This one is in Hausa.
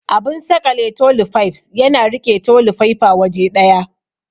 Abun saƙale toli faifs yana riƙe toli faifa waje ɗaya.